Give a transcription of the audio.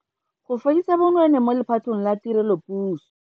Go fedisa bonweenwee mo lephateng la tirelopuso.